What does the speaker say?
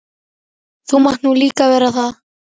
Þú mátt nú líka vera það.